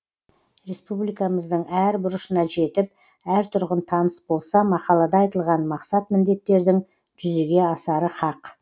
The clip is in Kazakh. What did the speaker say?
республикамыздың әр бұрышына жетіп әр тұрғын таныс болса мақалада айтылған мақсат міндеттердің жүзеге асары хақ